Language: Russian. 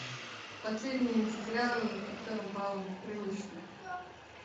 последний сериал с актером павлом прилучным